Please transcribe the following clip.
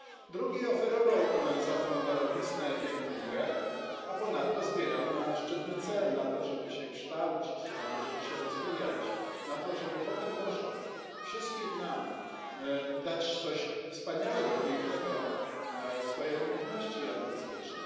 Drugi oferował za tę darowiznę piękną grę, a ponadto zbierał na szczytny cel na to, żeby się kształcić, na to, żeby się rozwijać, na to, żeby potem może wszystkim nam dać coś wspaniałego, pięknego, swoje umiejętności artystyczne.